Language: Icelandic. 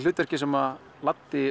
hlutverkið sem